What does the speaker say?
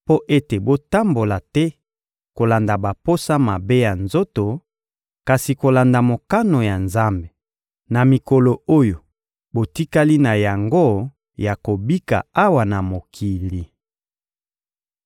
mpo ete botambola te kolanda baposa mabe ya nzoto, kasi kolanda mokano ya Nzambe, na mikolo oyo botikali na yango ya kobika awa na mokili.